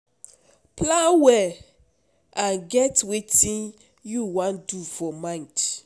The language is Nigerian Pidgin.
plan well and get wetin you wan do for mind